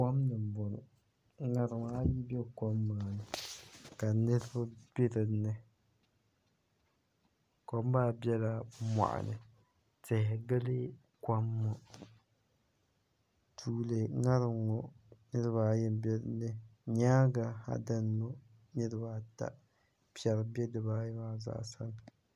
Kom ni n boŋo ka ŋarima ayi bɛ kom maa ni ka niraba bɛ dinni kom maa biɛla moɣani tihi gili kom ŋo tuuli ŋarim ŋo niraba ayi n bɛ dinni nyaangi ha dini ŋo niraba ata piɛri bɛ dibaayi maa zaasa ni